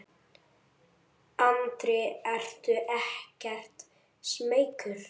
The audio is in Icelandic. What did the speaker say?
Andri: Ertu ekkert smeykur?